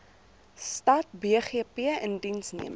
stad bgp indiensneming